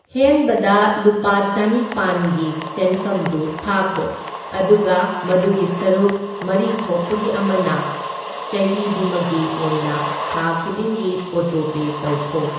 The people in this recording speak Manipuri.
ꯍꯦꯟꯕꯗ ꯂꯨꯄꯥ ꯆꯅꯤꯄꯥꯟꯒꯤ ꯁꯦꯟꯐꯝꯗꯨ ꯊꯥꯈꯣ, ꯑꯗꯨꯒ ꯃꯗꯨꯒꯤ ꯁꯔꯨꯛ ꯃꯔꯤ ꯊꯣꯛꯄꯒꯤ ꯑꯃꯅ ꯆꯍꯤꯗꯨꯃꯒꯤ ꯑꯣꯏꯅ ꯊꯥ ꯈꯨꯗꯤꯡꯒꯤ ꯑꯣꯇꯣꯄꯦ ꯇꯧꯈꯣ꯫